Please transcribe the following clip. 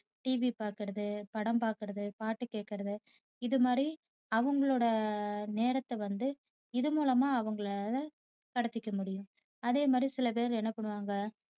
TV பாக்குறது படம் பாக்குறது பாட்டு கேக்குறது இது மாதிரி அவங்களோட நேரத்த வந்து இதுமூலமா அவங்களால கடத்திக்க முடியும். அதேமாதிரி சிலபேர் என்ன பண்ணுவாங்க